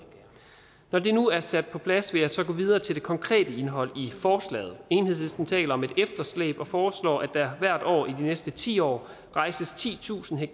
når det nu er sat på plads vil jeg gå videre til det konkrete indhold i forslaget enhedslisten taler om et efterslæb og foreslår at der hvert år i de næste ti år rejses titusind ha